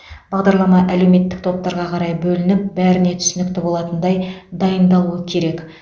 бағдарлама әлеуметтік топтарға қарай бөлініп бәріне түсінікті болатындай дайындалуы керек